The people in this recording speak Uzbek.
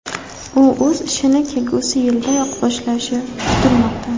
U o‘z ishini kelgusi yildayoq boshlashi kutilmoqda.